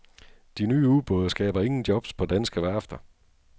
De nye ubåde skaber ingen jobs på danske værfter.